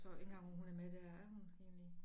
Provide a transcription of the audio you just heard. Tror ikke engang hun er med dér er hun egentlig